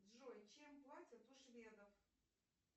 джой чем платят у шведов